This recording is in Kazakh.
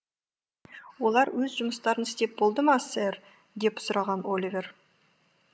олар өз жұмыстарын істеп болды ма сэр деп сұраған оливер